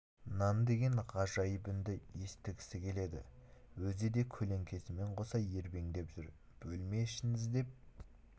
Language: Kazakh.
нан деген ғажайып үнді естігісі келеді өзі де көлеңкесімен қоса ербеңдеп жүр бөлме ішін іздеп